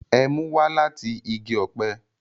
Ẹmu wá lati igi ọpẹ